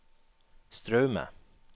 Straume